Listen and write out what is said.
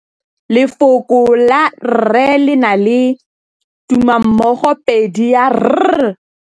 Lefoko la rre, le na le tumammogôpedi ya, r.